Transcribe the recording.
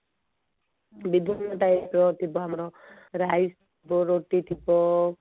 ପୁଣି ତା ଉପରେ ଥିବ ଆମର rice ଯୋଉ ରୁଟି ଥିବ